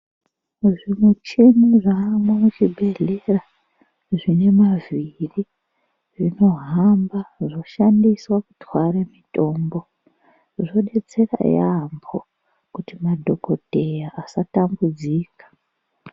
Muzvimuchini zvaamwo muzvibhedhlera, zvine mavhiri zvinohamba zvishandiswa kutwara mitombo. Zvodetsera yaamho kuti madhokodheya asatambudzika.